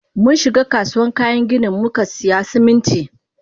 Munshiga kasuwan kayan ginin mukasiya Siminti.